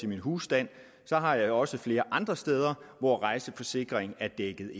min husstand har jeg også flere andre steder hvor rejseforsikring er dækket